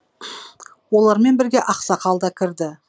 олармен бірге ақсақал да кірді